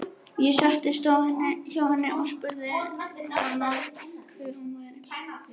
Ég settist hjá henni og spurði hana hver hún væri.